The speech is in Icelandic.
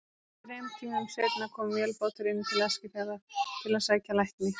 Þrem tímum seinna kom vélbátur inn til Eskifjarðar til að sækja lækni.